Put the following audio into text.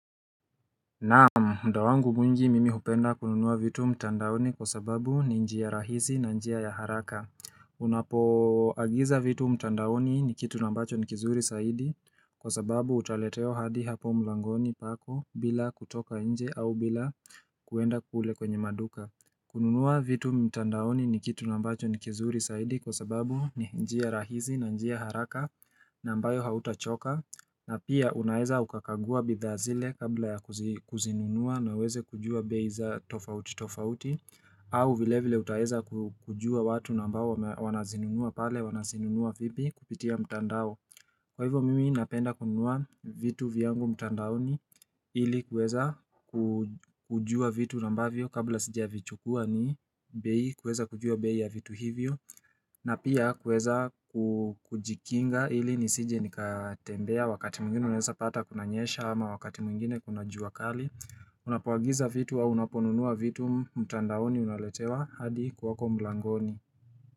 Naam, mda wangu mwingi mimi hupenda kununua vitu mtandaoni kwa sababu ni njia rahisi na njia ya haraka Unapo agiza vitu mtandaoni ni kitu na ambacho ni kizuri saidi kwa sababu utaletewa hadi hapo mlangoni pako bila kutoka inje au bila kuenda kule kwenye maduka kununua vitu mtandaoni ni kitu na ambacho ni kizuri saidi kwa sababu ni njia rahisi na njia haraka na ambayo hauta choka na pia unaeza ukakanlgua bidhaa zile kabla ya kuzi kuzinunua na uweze kujua beia za tofauti tofauti au vilevile utaweza ku kujua watu na ambao wana zinunua pale wana zinunua vipi kupitia mtandao Kwa hivyo mimi napenda kununua vitu vyangu mtandaoni ili kueza ku kujua vitu na ambavyo kabla sija vichukua ni bei kuweza kujua bei ya vitu hivyo na pia kuweza ku kujikinga ili nisije nikatembea wakati mwingine unaweza pata kuna nyesha ama wakati mwngine kuna jua kali Unapoagiza vitu au unaponunua vitu mtandaoni unaletewa hadi kwako mlangoni.